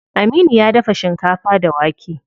Aminu ya dafa shinkafa da wake.